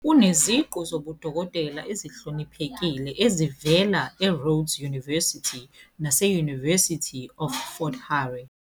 Uneziqu zobudokotela ezihloniphekile ezivela eRhodes University nase- University of Fort Hare.